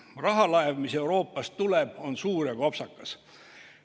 Rahalaev, mis Euroopast tuleb, on suur ja kopsakas.